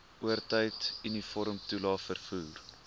oortyd uniformtoelae vervoer